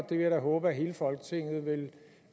vil jeg da håbe at hele folketinget